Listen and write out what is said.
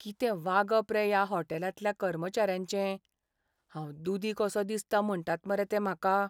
कितें वागप रे ह्या हॉटेलांतल्या कर्मचाऱ्यांचें. हांव दुदी कसो दिसता म्हणटात मरे ते म्हाका.